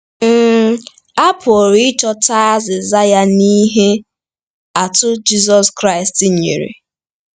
um A pụrụ ịchọta azịza ya n'ihe atụ Jizọs Kraịst nyere.